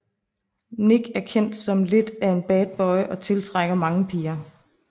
Nick er kendt som lidt af en bad boy og tiltrækker mange piger